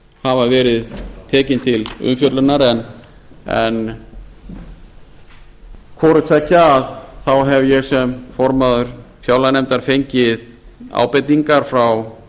hafa verið tekin til umfjöllunar en hvorutveggja þá hef ég sem formaður fjárlaganefndar fengið ábendingar frá